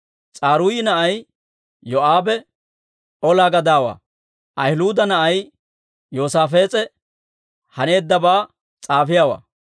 S'aruuyi na'ay Yoo'aabe ola gadaawaa; Ahiluuda na'ay Yoosaafees'e haneeddabaa s'aafiyaawaa;